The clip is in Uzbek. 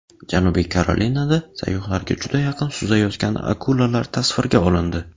Janubiy Karolinada sayyohlarga juda yaqin suzayotgan akulalar tasvirga olindi .